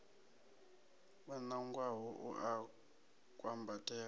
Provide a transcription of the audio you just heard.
o nangwaho u a kwambatela